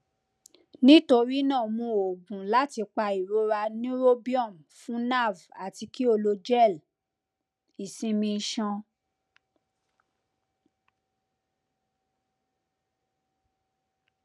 nitorina mu oogun lati pa irora neurobion fun nerve ati ki o lo gel isinmi iṣan